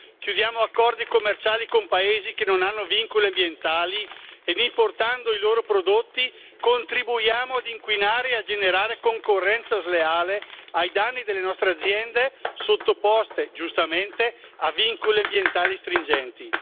Chiudiamo accordi commerciali con paesi che non hanno vincoli ambientali ed importando i loro prodotti contribuiamo ad inquinare e a generare concorrenza sleale ai danni delle nostre aziende, sottoposte, giustamente, a vincoli ambientali stringenti.